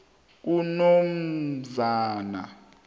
kunomzana